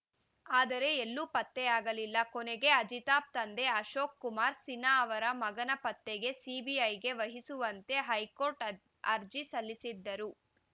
ಆದರೆ ಎಲ್ಲೂ ಪತ್ತೆಯಾಗಲಿಲ್ಲ ಕೊನೆಗೆ ಅಜಿತಾಬ್‌ ತಂದೆ ಅಶೋಕ್‌ ಕುಮಾರ್‌ ಸಿನ್ಹಾ ಅವರ ಮಗನ ಪತ್ತೆಗೆ ಸಿಬಿಐಗೆ ವಹಿಸುವಂತೆ ಹೈಕೋರ್ಟ್‌ ಆಜ್ ಅರ್ಜಿ ಸಲ್ಲಿಸಿದ್ದರು